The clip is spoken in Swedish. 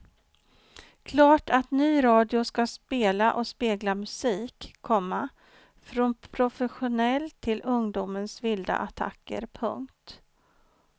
Klart att ny radio ska spela och spegla musik, komma från professionell till ungdomens vilda attacker. punkt